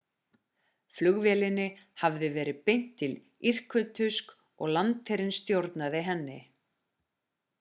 flugvélinni hafði verið beint til irkutsk og landsherinn stjórnaði henni